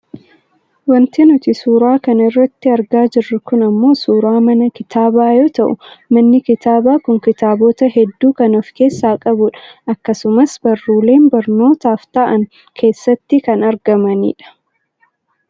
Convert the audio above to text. Wanti nuti suura kana irratti argaa jirru kun ammoo suuraa mana kitaabaa yoo ta'u manni kitaabaa kun kitaabota hedduu kan of keessaa qabudha . Akkasumas barruuleen barnootaaf ta'an keessatti kan argamanidha.